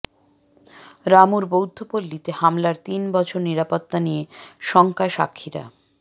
রামুর বৌদ্ধপল্লিতে হামলার তিন বছর নিরাপত্তা নিয়ে শঙ্কায় সাক্ষীরা